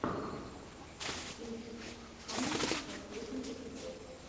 итс фанне последний эпизод